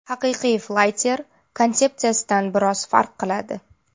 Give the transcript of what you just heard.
Haqiqiy Flyter konsepsiyadan biroz farq qiladi.